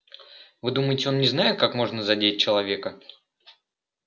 вы думаете он не знает как можно задеть человека